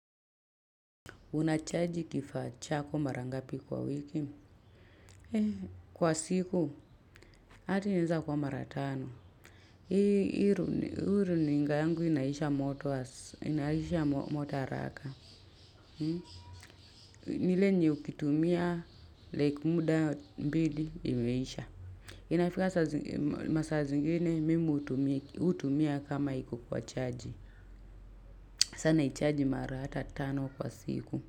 Unachaji kifaa chako mara ngapi kwa wiki? Kwa siku, hata ineza kuwa mara tano. Hii runinga yangu inaisha moto haraka. Ni ile yenye ukitumia, like muda mbili, imeisha. Inafika masaa zingine, mimi hutumia kama iku kwa charge. Sa naicharji mara hata tano kwa siku.